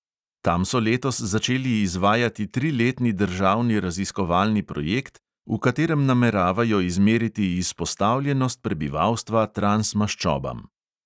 Tam so letos začeli izvajati triletni državni raziskovalni projekt, v katerem nameravajo izmeriti izpostavljenost prebivalstva transmaščobam.